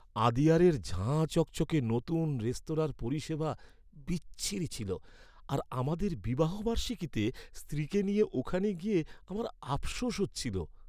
আদিয়ারের ঝাঁ চকচকে নতুন রেস্তোরাঁর পরিষেবা বিচ্ছিরি ছিল, আর আমাদের বিবাহবার্ষীকিতে স্ত্রীকে নিয়ে ওখানে গিয়ে আমার আফশোস হচ্ছিল।